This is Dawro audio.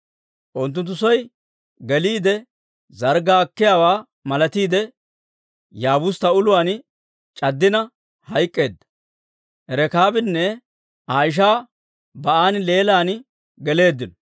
Unttunttu soy geliide zarggaa akkiyaawaa malatiide Yaabustta uluwaan c'addina hayk'k'eedda. Rekaabinne Aa ishaa Ba'aan leelan geleeddino.